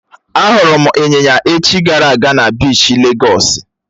Á hụrụ m Ị́nyinya echi gara aga na biishi légọ́s